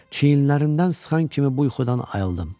Çiynlərindən sıxan kimi bu yuxudan ayıldım.